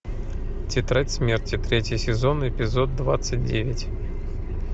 тетрадь смерти третий сезон эпизод двадцать девять